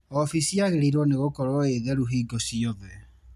Ofici yagĩrĩirwo nĩgũkorwo ĩtheru hingo ciothe.